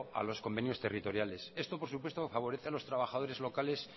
a los convenios territoriales esto por supuesto favorece a los trabajadores locales